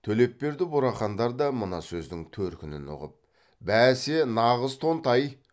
төлепберді бурахандар да мына сөздің төркінін ұғып бәсе нағыз тонтай